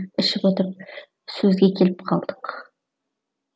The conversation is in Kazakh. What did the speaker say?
ішіп отырып сөзге келіп қалдық